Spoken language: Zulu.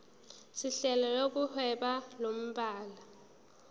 sohlelo lokuhweba lomhlaba